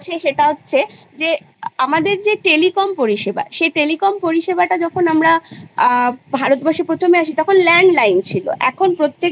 কিন্তু সেই সময় Particular কিছু পা Part ভাগ করে দেওয়া হবে যেমন এখন আমরা Arts Science Commerce যেগুলো আমরা